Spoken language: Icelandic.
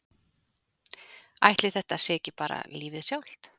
Ætli þetta sé ekki bara lífið sjálft?